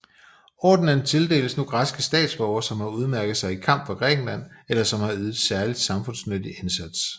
Ordenen tildeles nu græske statsborgere som har udmærket sig i kamp for Grækenland eller som har ydet særlig samfundsnyttig indsats